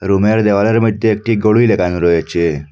রুমের দেওয়ালের মধ্যে একটি গড়ি লাগানো রয়েছে।